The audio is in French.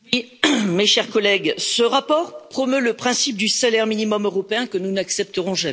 Mes chers collègues, ce rapport promeut le principe du salaire minimum européen, que nous n'accepterons jamais.